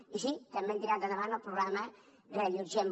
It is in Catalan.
i sí també hem tirat endavant el programa reallotgem